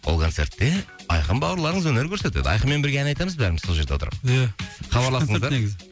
ол концертте айқын бауырларыңыз өнер көрсетеді айқынмен бірге ән айтамыз бәріміз сол жерде отырып ия күшті өтеді негізі